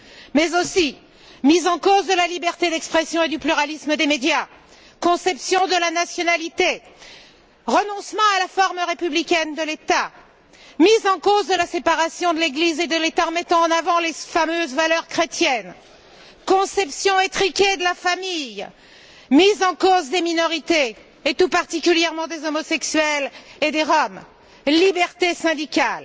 mais aussi mise en cause de la liberté d'expression et du pluralisme des médias, conception de la nationalité, renoncement à la forme républicaine de l'État, mise en cause de la séparation de l'Église et de l'État, en mettant en avant les fameuses valeurs chrétiennes, conception étriquée de la famille, mise en cause des minorités, et tout particulièrement des homosexuels et des Roms et liberté syndicale.